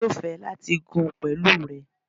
Emi yóò fẹ lati gùn pẹlu rẹ